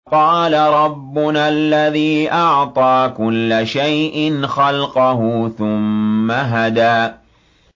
قَالَ رَبُّنَا الَّذِي أَعْطَىٰ كُلَّ شَيْءٍ خَلْقَهُ ثُمَّ هَدَىٰ